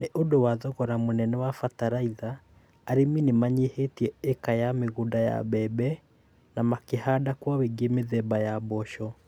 Nĩ ũndũ wa thogora mũnene wa bataraitha, arĩmi nĩ manyihitie ĩka ya migũnda yaa mbembe. Na makĩhanda kwa wĩngĩ mitheba ya mboco.